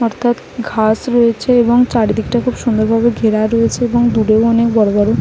অর্থাৎ ঘাস রয়েছে এবং চারিদিকটা খুব সুন্দর ভাবে ঘেরা রয়েছে এবং দূরেও অনেক বড়ো বড়ো --